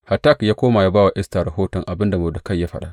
Hatak ya koma ya ba wa Esta rahoton abin da Mordekai ya faɗa.